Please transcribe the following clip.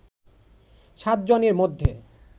সাতজনের মধ্যে